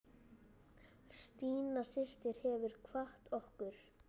Stína systir hefur kvatt okkur.